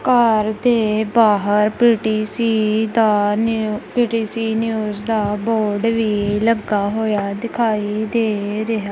ਘੱਰ ਦੇ ਬਾਹਰ ਪੀ_ਟੀ_ਸੀ ਦਾ ਨਿਊ ਪੀ_ਟੀ_ਸੀ ਨਿਊਜ਼ ਦਾ ਬੋਰਡ ਲਵੇ ਲੱਗਾ ਹੋਏ ਆ ਦਿਖਾਈ ਦੇ ਰਿਹਾ--